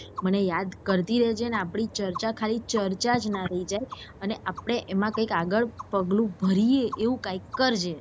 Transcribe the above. મને યાદ કરતી રહેજે અને આપી ચર્ચા ખાલી ચર્ચા ના રહી જાય અને આપડે એમાં કઈ આગળ પગલું ભરીયે એવું કયાંક કરજે.